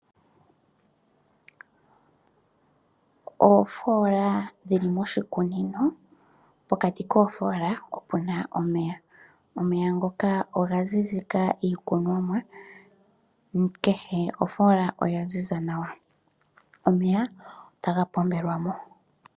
Oofola dhi li moshikunino, pokati koofola opuna omeya. Omeya ngoka oga zizika iikunomwa. Kehe ofola oya ziza nawa. Omeya otaga pombelwa mo.